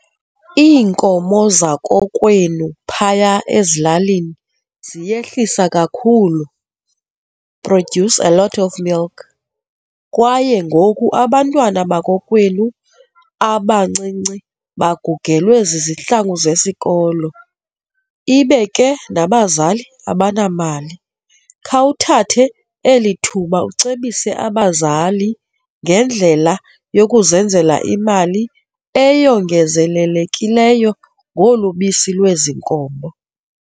Iinkomo zakokwenu phaya ezilalini ziyehlisa kakhulu produce a lot of milk kwaye ngoku abantwana bakokwenu abancinci bagugelwe zizihlangu zesikolo ibe ke nabazali abanamali, khawuthathe eli thuba ucebise abazali ngendlela yokuzenzela imali eyongezelekileyo ngolu bisi lwezi nkomo.